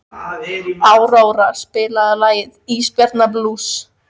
Áróra, spilaðu lagið „Ísbjarnarblús“.